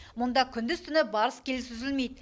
мұнда күндіз түні барыс келіс үзілмейді